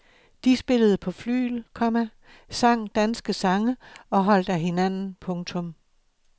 De spillede på flygel, komma sang danske sange og holdt af hinanden. punktum